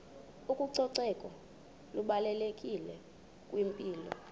ucoceko lubalulekile kwimpilo